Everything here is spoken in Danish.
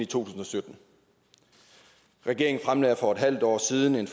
tusind og sytten regeringen fremlagde for et halvt år siden en